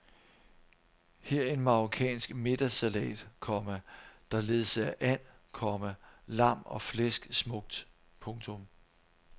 Her en marokkansk middagssalat, komma der ledsager and, komma lam og flæsk smukt. punktum